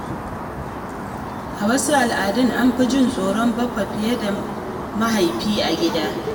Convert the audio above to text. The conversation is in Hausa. A wasu al’adu, an fi jin tsoron baffa fiye da mahaifi a gida.